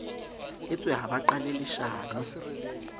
utswe ha ba qale leshano